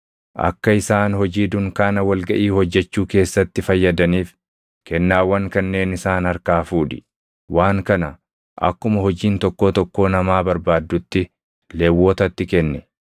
“Akka isaan hojii dunkaana wal gaʼii hojjechuu keessatti fayyadaniif kennaawwan kanneen isaan harkaa fuudhi. Waan kana akkuma hojiin tokkoo tokkoo namaa barbaaddutti Lewwotatti kenni.”